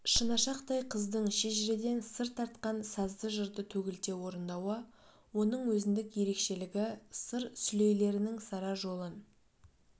шынашақтай қыздың шежіреден сыр тартқан сазды жырды төгілте орындауы оның өзіндік ерекшелігі сыр сүлейлерінің сара жолын